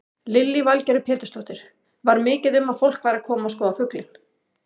Lillý Valgerður Pétursdóttir: Var mikið um að fólk væri að koma að skoða fuglinn?